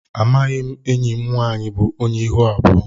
Amaghị enyị mụ nwaanyị bụ ónyé ịhụ abụọ.